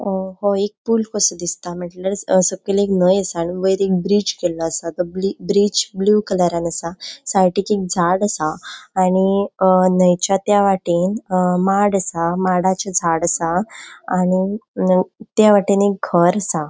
ओ हो एक पूल कसो दिसता म्हटल्यारच सकैल एक न्हय असा वयर एक ब्रिज केल्लो आसा. तो ब्रिज ब्लू कलरान असा साइडिक एक झाड असा आनी अ न्हयच्या त्या वाटेन अ माड असा माडाचे झाड आसा आनी त्या वाटेन एक घर आसा.